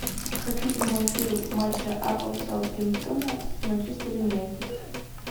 хочу прямой эфир матча апл саутгемптона с манчестер юнайтед